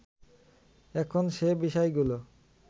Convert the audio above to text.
এখন সে বিষয়গুলো